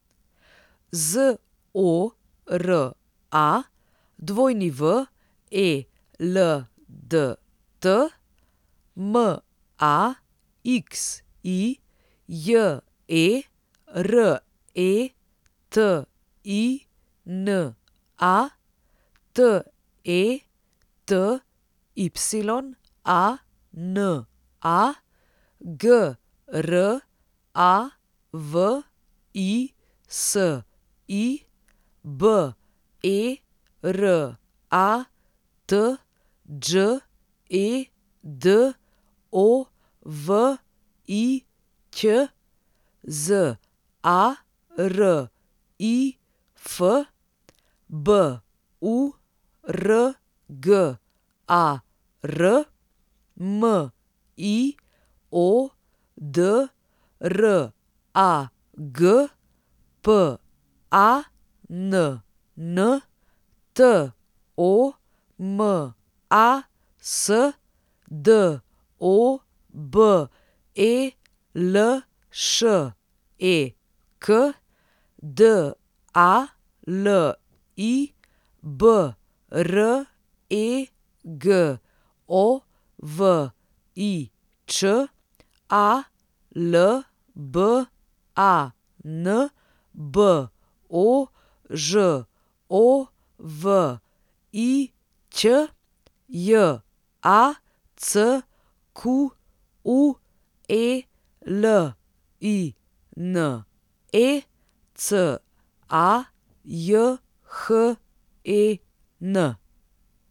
Zora Weldt, Maxi Jeretina, Tetyana Gravisi, Berat Đedović, Zarif Burgar, Miodrag Pann, Tomas Dobelšek, Dali Bregovič, Alban Božović, Jacqueline Cajhen.